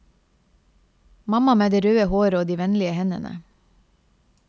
Mamma med det røde håret og de vennlige hendene.